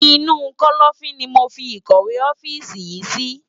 Inu kòlòfin ni mó fi ikòwé òfisi yin si